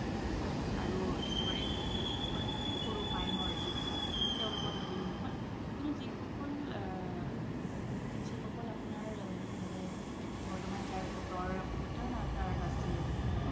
আৰু একেবাৰে যি সকল একেবাৰে সৰু minor যি সকল তেওলোকৰ বাবেও নহয় কিন্তু যি সকল, আ যি সকল আপোনাৰ মানে বৰ্তমান যাৰ voter card আছে